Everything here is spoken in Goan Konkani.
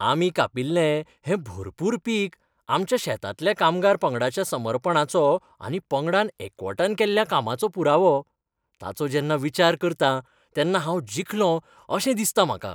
आमी कापिल्लें हें भरपूर पीक आमच्या शेतांतल्या कामगार पंगडाच्या समर्पणाचो आनी पंगडान एकवटान केल्ल्या कामाचो पुरावो. ताचो जेन्ना विचार करतां तेन्ना हांव जिखलों अशें दिसतां म्हाका.